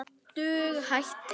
Dug hættir.